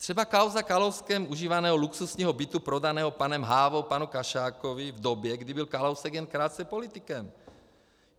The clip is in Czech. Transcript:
Třeba kauza Kalouskem užívaného luxusního bytu prodaného panem Hávou panu Kašákovi v době, kdy byl Kalousek jen krátce politikem.